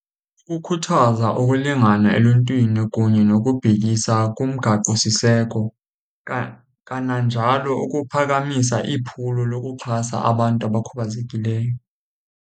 Ukukhuthaza ukulingana eluntwini kunye nokubhekisa kumgaqosiseko kananjalo ukuphakamisa iphulo lokuxhasa abantu abakhubazekileyo.